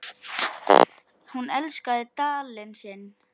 Hún elskaði Dalinn sinn.